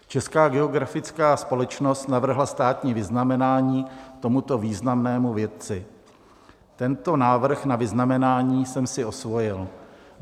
Česká geografická společnost navrhla státní vyznamenání tomuto významnému vědci, tento návrh na vyznamenání jsem si osvojil.